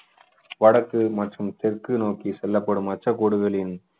வடக்கு மற்றும் தெற்கு நோக்கி செல்லப்படும் அச்சக்கோடுகளின்